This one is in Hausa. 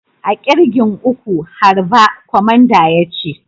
A'kirgin uku, harba!! Kwamandan ya ce.